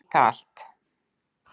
Nýta allt